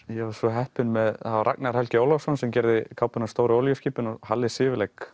ég var svo heppinn að það var Ragnar Helgi Ólafsson sem gerði kápuna á stóru olíuskipin og Halli